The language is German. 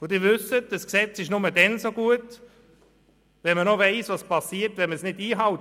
Bekanntlich ist ein Gesetz nur dann gut, wenn man auch weiss, was passiert, wenn man es nicht einhält.